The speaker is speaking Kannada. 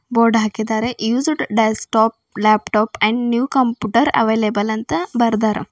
ಬೋರ್ಡ್ ಹಾಕಿದಾರೆ used desktop laptop and new computer available ಅಂತ ಬರ್ದಾರ.